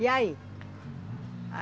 E aí?